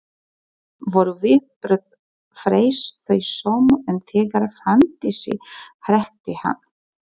Voru viðbrögð Freys þau sömu og þegar Fanndísi hrekkti hann?